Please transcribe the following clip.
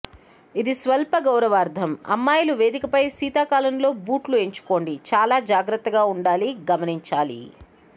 ఇది స్వల్ప గౌరవార్ధం అమ్మాయిలు వేదికపై శీతాకాలంలో బూట్లు ఎంచుకోండి చాలా జాగ్రత్తగా ఉండాలి గమనించాలి